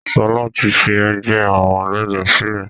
Sọlá tí fi ẹgbẹ́ àwọn ẹlẹ́ja sílẹ̀